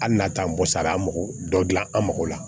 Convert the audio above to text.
Hali n'a t'an bɔ sa an mago dɔ dilan an mago la